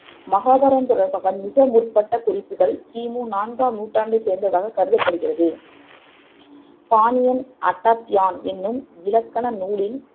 மகாபாரதம் தொடர்பான மிக முற்பட்ட குறிப்புக்கள் கிமு நான்காம் நூற்றாண்டைச் சேர்ந்ததாகக் கருதப்படுகிறது பாணியன் அட்டாத்தியான் என்னும் இலக்கண நூலின்